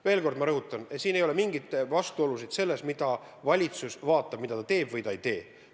Veel kord ma rõhutan: meil ei ole mingeid vastuolusid selles, mida valitsus vaatab, mida ta teeb või ei tee.